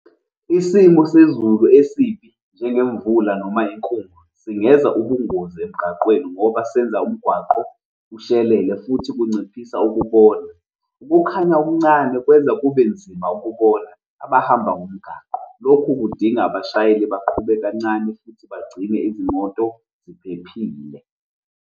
Isimo sezulu esibi njengemvula noma inkungu singenza ubungozi emgaqweni ngoba senza umgwaqo ushelele futhi kunciphisa ukubona. Ukukhanya okuncane kwenza kube nzima ukubona abahamba ngomgaqo. Lokhu kudinga abashayeli baqhube kancane futhi bagcine izimoto ziphephile.